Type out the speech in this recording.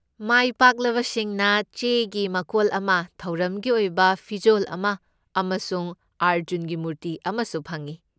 ꯃꯥꯏꯄꯥꯛꯂꯕꯁꯤꯡꯅ ꯆꯦꯒꯤ ꯃꯀꯣꯜ ꯑꯃ, ꯊꯧꯔꯝꯒꯤ ꯑꯣꯏꯕ ꯄꯤꯖꯣꯜ ꯑꯃ ꯑꯃꯁꯨꯡ ꯑꯔꯖꯨꯟꯒꯤ ꯃꯨꯔꯇꯤ ꯑꯃꯁꯨ ꯐꯪꯏ꯫